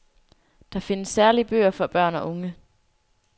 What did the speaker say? Der findes særlige bøger for børn og unge.